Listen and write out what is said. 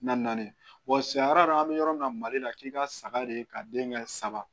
Na naani an bɛ yɔrɔ min na mali la k'i ka saga de ka den kɛ saba